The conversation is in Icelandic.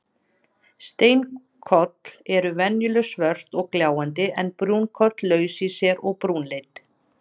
Steinkol eru venjulega svört og gljáandi en brúnkol laus í sér og brúnleit.